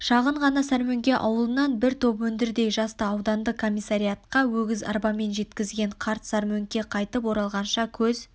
шағын ғана сармөңке ауылынан бір топ өндірдей жасты аудандық комиссариаттқа өгіз арбамен жеткізген қарт сармөңкеге қайтып оралғанша көз